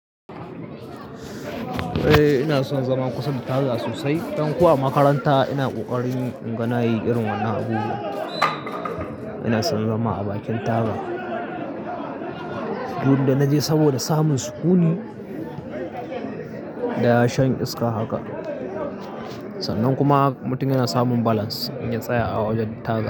Eh ina son zama kusa da taga sosai. Ɗan ko a makaranta ina kokarin inga na yi irin wannan abubuwa. Ina son zama a bakin taga. In da naje saboda samun sukuni da shan iska haka. Sannan kuma mutum yana samun balance in ya tsaya a wajen taga.